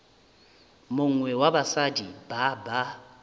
mongwe wa basadi ba ba